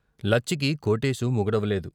లచ్చికి కోటేశు మొగుడవ లేదు.